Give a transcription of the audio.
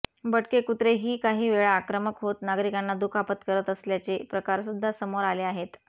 भटके कुत्रे ही काही वेळा आक्रमक होत नागरिकांना दुखापत करत असल्याचे प्रकारसुद्धा समोर आले आहेत